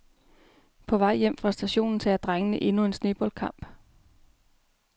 På vej hjem fra stadion tager drengene endnu en sneboldkamp.